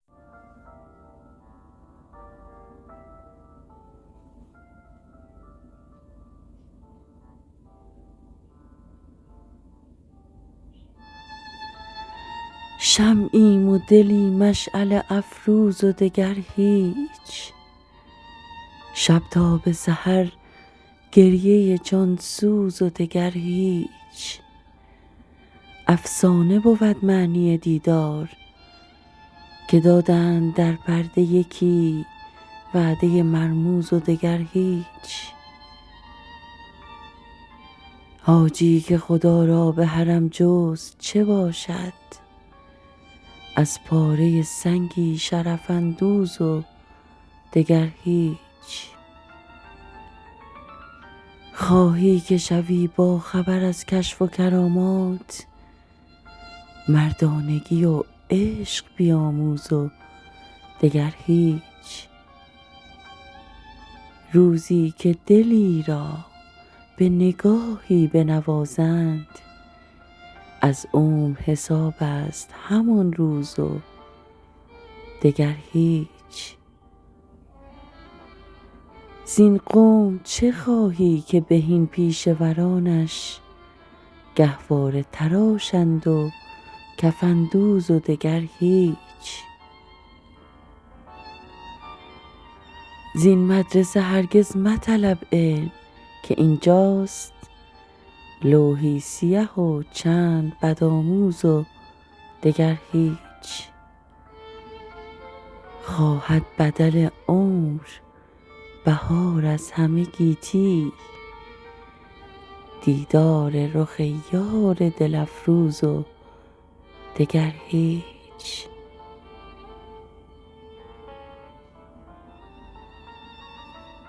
شمعیم و دلی مشعله افروز و دگر هیچ شب تا به سحر گریه جانسوز و دگر هیچ افسانه بود معنی دیدار که دادند در پرده یکی وعده مرموز و دگر هیچ حاجی که خدا را به حرم جست چه باشد از پاره سنگی شرف اندوز و دگر هیچ خواهی که شوی باخبر ازکشف و کرامات مردانگی و عشق بیاموز و دگر هیچ روزی که دلی را به نگاهی بنوازند از عمر حسابست همان روز و دگر هیچ زین قوم چه خواهی که بهین پیشه ورانش گهواره تراشند و کفن دوز و دگر هیچ زین مدرسه هرگز مطلب علم که اینجاست لوحی سیه و چند بدآموز و دگر هیچ خواهد بدل عمر بهار از همه گیتی دیدار رخ یار دل افروز و دگر هیچ